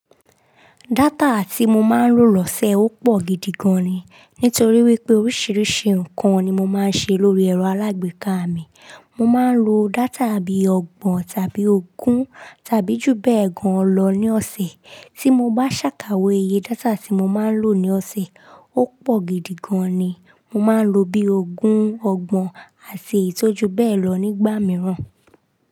Data tí mo máa ń lò lọ́sẹ̀ ó pọ̀ gidi gan ni. Nítorí wípé oríṣiríṣi ǹkan ni mo máa ń ṣe lórí ẹ̀rọ alágbèéká mi. Mo máa ń lo data bí i ọgbọ̀n tàbí ogún tàbí jù bẹ́ẹ̀ gan lọ ní ọ̀sẹ̀. Tí mo ba ṣàkáwe iye data tí mo máa ń lò ní ọ̀sẹ̀, ó pọ̀ gidi gan ni. Mo máa ń lo bí ogún, ọgbọ̀n, àti èyi tò ju bẹ́ẹ̀ lọ nígbà mìíràn.